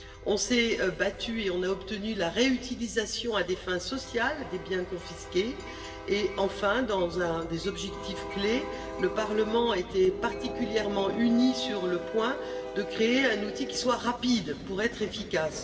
Nous nous sommes battus et nous avons obtenu la réutilisation à des fins sociales des biens confisqués et, enfin, dans un des objectifs clés, le Parlement a été particulièrement uni sur l'objectif de créer un outil qui soit rapide pour être efficace.